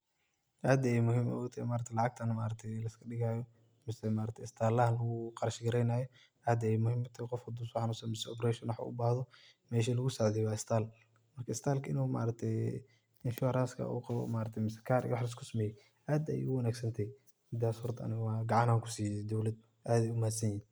Aad ayey muhiim utahay lacagtan maaragte laiskadhigayo oo sida maaragte istalaha luguqarshgareynayo aad ayey muhiim utahay qof hadu soxanunsado ama operation ubahdo mesha lugusacideyo wa istal marka istal inu maaragte insurance uu qawo maaragte mise karka iyo waxas losameye aad ayey uwangsantahay midas horta aniga gacan ayan kusiye dowlada aad ayey umahadsanyihin.